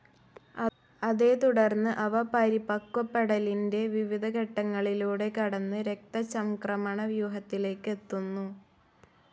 അതേത്തുടർന്ന് അവ പരിപക്വപ്പെടലിന്റെ വിവിധ ഘട്ടങ്ങളിലൂടെ കടന്ന് രക്തചംക്രമണവ്യൂഹത്തിലേക്ക് എത്തുന്നു.